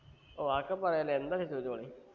ഓ അതൊക്കെ പറയാല്ലോ എന്താവെച്ച ചോയിച്ചോളീ